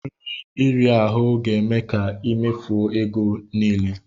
Nri iri ahu ga-eme ka i mefuo ego gi niile.